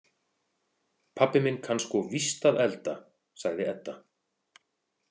Pabbi minn kann sko víst að elda, sagði Edda.